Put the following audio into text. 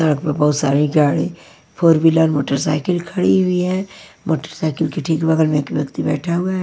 सड़क पे बहुत सारी गाड़ी फोर व्हीलर मोटरसाइकिल खड़ी हुई है मोटरसाइकिल के ठीक बगल में एक व्यक्ति बैठा हुआ है।